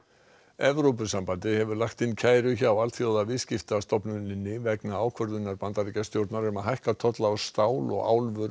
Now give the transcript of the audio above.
Evrópusambandið hefur lagt inn kæru hjá Alþjóðaviðskiptastofnuninni vegna ákvörðunar Bandaríkjastjórnar um að hækka tolla á stál og